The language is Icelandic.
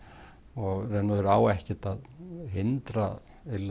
og í raun og veru á ekkert að hindra